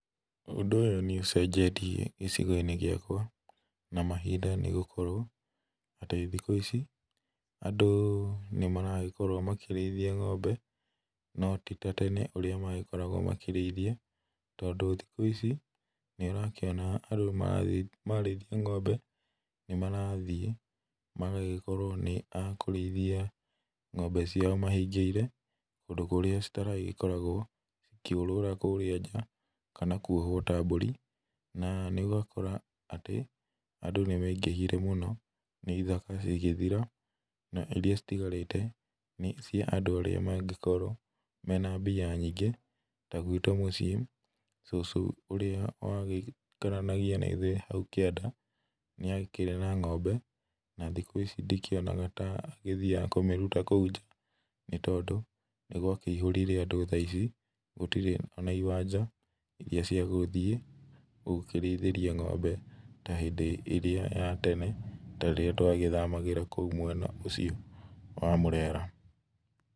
Ũndũ nĩ ũcenjetie gĩcigo-inĩ gĩakwa na mahinda nĩ gũkorwo atĩ thikũ ici andũ nĩmaragĩkorwo makĩrĩithia ng'ombe no ti ta tene ũrĩa magĩkoragwo makĩrĩithia, tondũ thikũ ici nĩ ũrakĩona andũ mararĩithia ng'ombe, nĩ mararĩithia ng'ombe ciao mahingĩire, kũndũ kũrĩa citakoragwo ikĩũrũra kũrĩa nja kana kwohwo ta mbũri, na ũgakora, atĩ andũ nĩ maingĩhire mũno na ithaka cigĩthira na iria citigarĩte nĩ cia andũ arĩa mangĩkorwo mena mbia nyingĩ, ta gwitũ mũciĩ, cũcũ ũrĩa waikaranagia na ithuĩ hau kĩanda nĩ akĩrĩ na ng'ombe, na thikũ ici ndikĩinaga ta thiaga kũmĩruta kũu nja, nĩ tondũ nĩ gwakĩihũrire andũ thaa ici ona gũtirĩ na iwanja irĩa cia gũthiĩ gũkĩrĩithĩria ng'ombe ta hĩndĩ ĩrĩa ya tene, ta rĩrĩa twa thamagĩra mwena ũcio wa Mũrera.